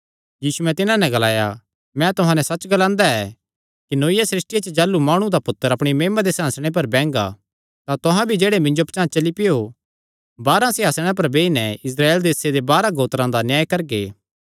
यीशुयैं तिन्हां नैं ग्लाया मैं तुहां नैं सच्च ग्लांदा ऐ कि नौईआ सृष्टिया च जाह़लू माणु दा पुत्तर अपणी महिमा दे सिंहासणे पर बैंगा तां तुहां भी जेह्ड़े मिन्जो पचांह़ चली पैयो बारांह सिंहासणे पर बेई नैं इस्राएल देसे दे बारांह गोत्रां दा न्याय करगे